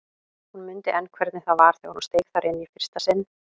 Hún mundi enn hvernig það var þegar hún steig þar inn í fyrsta sinn.